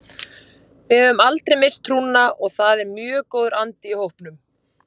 Við höfum aldrei misst trúna og það er mjög góður andi í hópnum.